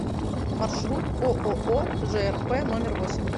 маршрут ооо жрп номер восемь